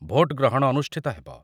Vote ଗ୍ରହଣ ଅନୁଷ୍ଠିତ ହେବ ।